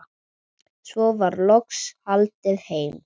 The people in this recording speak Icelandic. Svo var loks haldið heim.